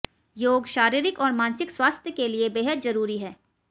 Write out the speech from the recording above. योग शारीरिक और मानसिक स्वास्थ्य के लिए बेहद जरूरी है